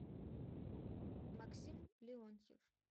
максим леонтьев